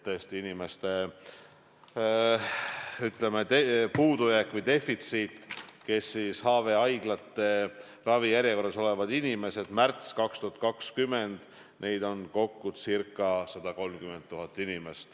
Tõesti, on puudujääk või defitsiit, inimesi, kes HVA-haiglate ravijärjekorras olid märtsis 2020, oli kokku ca 130 000.